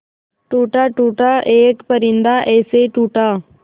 टूटा टूटा एक परिंदा ऐसे टूटा